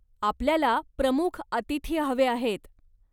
आपल्याला प्रमुख अतिथी हवे आहेत.